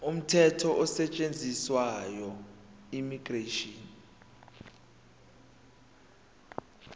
umthetho osetshenziswayo immigration